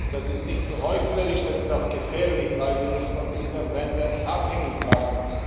Das ist nicht nur heuchlerisch, das ist auch gefährlich, weil wir uns von diesen Ländern abhängig machen.